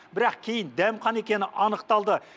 бірақ кейін дәмхана екені анықталды